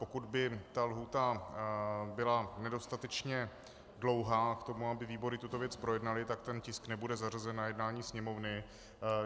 Pokud by ta lhůta byla nedostatečně dlouhá k tomu, aby výbory tuto věc projednaly, tak ten tisk nebude zařazen na jednání Sněmovny.